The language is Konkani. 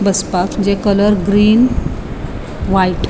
बसपाक जे कलर ग्रीन व्हाइट .